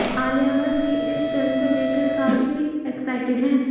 आलिया भट्ट भी इस फिल्म को लेकर काफी एक्साइटेड हैं